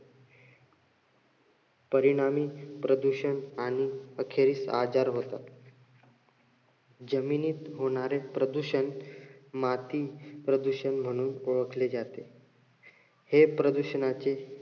परिणामी प्रदूषण आणि अखेरीस आजार होतात. जमिनीत होणारे प्रदूषण माती प्रदूषण म्हणून ओळखले जाते. हे प्रदूषणाची